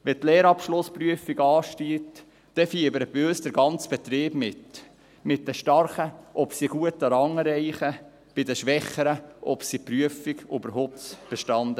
Wenn die Lehrabschlussprüfungen anstehen, dann fiebert bei uns der ganze Betrieb mit – bei den Starken, ob sie einen guten Rang erreichen, bei den Schwächeren, ob sie die Prüfung überhaupt bestehen.